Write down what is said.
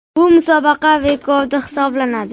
Bu musobaqa rekordi hisoblanadi .